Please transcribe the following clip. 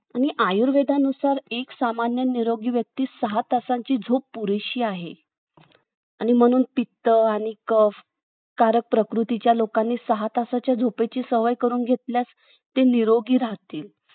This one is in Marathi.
आणि आय्र्वेदनुसार एक सामान्य निरोगी व्यक्ती सहा तासाची झोप पुरेशी आहे आणि म्ह्णून पित्त आणि कफकारक प्रकृतीच्या लोकांनी सहा तासाची झोप सवय करून घेतल्याने ते निरोगी राहतील